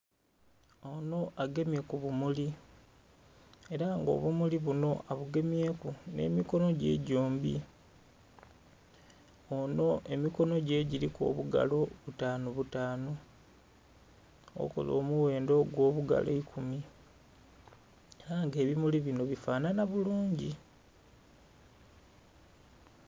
Ono agemye kubumuli era nga obumuli bunho abagemye ku n'emikono gye gyombi. Ono emikono gye giriku obugalo butanu butanu okola omughendho ogw'obugalo eikumi era nga ebimuli bino bifanhanha bulungi.